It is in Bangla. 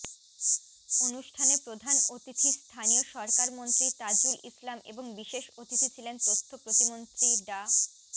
অনুষ্ঠানে প্রধান অতিথি স্থানীয় সরকারমন্ত্রী তাজুল ইসলাম এবং বিশেষ অতিথি ছিলেন তথ্য প্রতিমন্ত্রী ডা